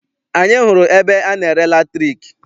Anyị hụrụ ebe ana-ere latriki.